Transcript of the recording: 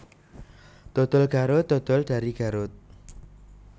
Dodol Garut dodol dari Garut